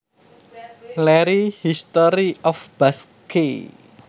Larry History of Basque